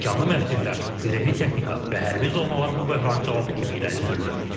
Tikanlı məftillər, zirehli texnika və hərbi zonalar bu böhranın cavabı kimi irəli sürülür.